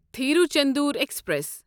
Tiruchendur express